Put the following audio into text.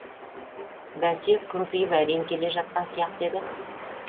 бәсе күмпиіп әрең келе жатқан сияқты еді